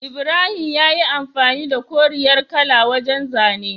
Ibrahim yayi amfani da koriyar kala wajan zane